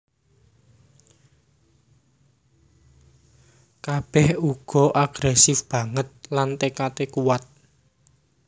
Kabèh uga agrèsif banget lan tékadé kuwat